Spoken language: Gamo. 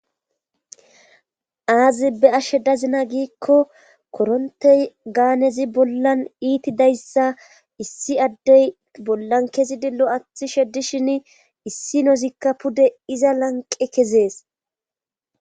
Aazi be ashe dazina giikko korontey gaanezi bollan iitidayssa issi addey bollan kezi dillo athi sheddishin issi nozikka pude iza lanqe kezees